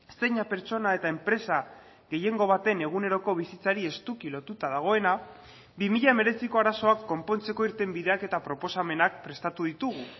zeina pertsona eta enpresa gehiengo baten eguneroko bizitzari estuki lotuta dagoena bi mila hemeretziko arazoak konpontzeko irtenbideak eta proposamenak prestatu ditugu